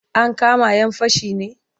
Ankama 'yan fashin ne?